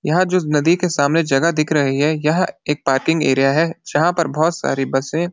यहाँ जो नदी के सामने जगह दिख रही है यह एक पार्किंग एरिया है जहाँ पर बहुत सारी बसें --